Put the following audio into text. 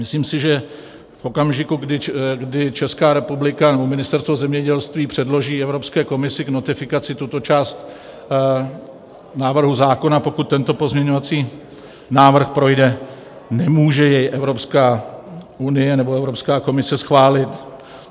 Myslím si, že v okamžiku, kdy Česká republika nebo Ministerstvo zemědělství předloží Evropské komisi k notifikaci tuto část návrhu zákona, pokud tento pozměňovací návrh projde, nemůže jej Evropská unie nebo Evropská komise schválit.